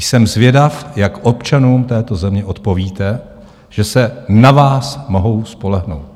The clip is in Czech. Jsem zvědav, jak občanům této země odpovíte, že se na vás mohou spolehnout.